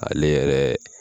Ale yɛrɛ